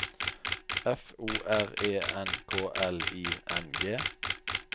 F O R E N K L I N G